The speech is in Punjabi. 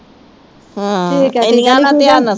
ਹਾਂ ਏਨੀਆਂ ਨਾ ਧਿਆਨ ਨਾ ਸੁਣ।